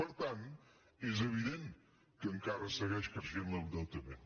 per tant és evident que encara segueix creixent l’endeutament